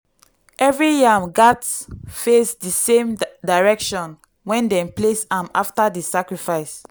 every yam gats face di same direction when dem place am after di sacrifice.